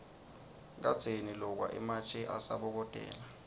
kadzeni lokwa ematje asabokotela